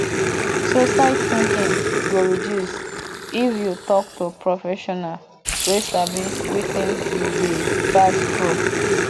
suicide tinking go reduce if yu tok to professional wey sabi wetin yu dey pass thru